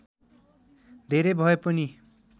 धेरै भए पनि